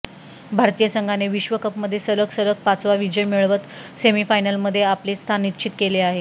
भारतीय संघाने विश्वकपमध्ये सलग सलग पाचवा विजय मिळवत सेमीफायनलमध्ये आपले स्थान निश्चित केले आहे